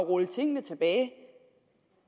rulle tingene tilbage